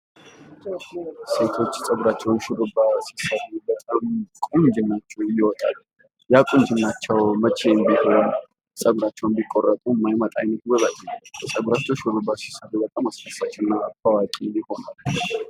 ሴቶች ፀጉራቸውን ሹሩባ ሲሰሩ በጣም ቁንጅናቸው ይወጣል። ያ ቁንጅናቸው መቼም ቢሆን ፀጉራቸውን ቢቆረጡ እንኳን የማይመጣ አይነት ውበት ነው። ፀጉራቸውን ሹሩባ ሲሰሩ በጣም አስደሳች እና ታዋቂ ይሆናሉ።